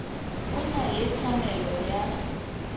o na le tshwanelo ya